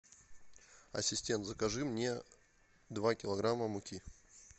ассистент закажи мне два килограмма муки